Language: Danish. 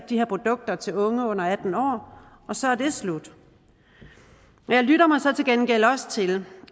de her produkter til unge under atten år og så er det slut men jeg lytter mig så til gengæld også til